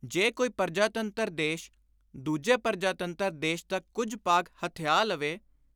ਜੇ ਕੋਈ ਪਰਜਾਤੰਤਰ ਦੇਸ਼ ਦੂਜੇ ਪਰਜਾਤੰਤਰ ਦੇਸ਼ ਦਾ ਕੁਝ ਭਾਗ ਹਥਿਆ ਲਵੇ